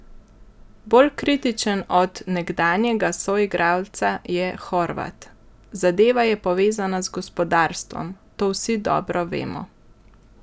Bolj kritičen od nekdanjega soigralca je Horvat: 'Zadeva je povezana z gospodarstvom, to vsi dobro vemo.